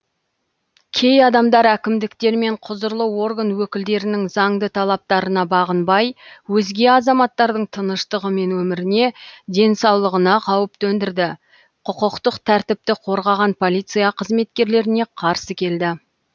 кей адамдар әкімдіктер мен құзырлы орган өкілдерінің заңды талаптарына бағынбай өзге азаматтардың тыныштығы мен өміріне денсаулығына қауіп төндірді құқықтық тәртіпті қорғаған полиция қызметкерлеріне қарсы келді